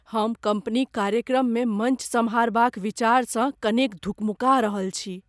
हम कंपनीक कार्यक्रममे मंच सम्हारबाक विचारसँ कनेक धुकमुका रहल अछि।